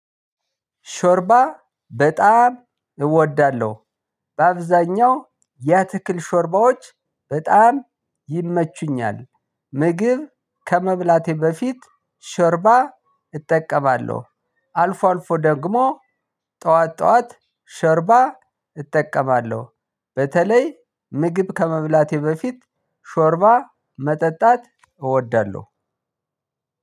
ሾርባ በጣም እወዳለሁ በአብዛኛው የአትክልት ሾርባዎች በጣም ይመቹኛል። ምግብ ከመብለቴ በፊት ሾርባ እጠቀማለሁ አልፎ አልፎ ደግሞ ጥዋት ጥዋት ሾርባ እጠቀማለ። በተለይ ምግብ ከመብላቴ በፊት ሾርባ መጠጣት እወዳለሁ።